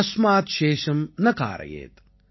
தஸ்மாத் சேஷம் ந காரயேத்